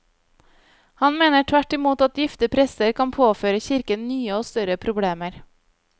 Han mener tvert imot at gifte prester kan påføre kirken nye og større problemer.